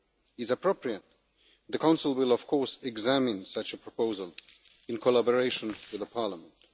is appropriate, the Council will of course be examine such a proposal, in collaboration with the Parliament.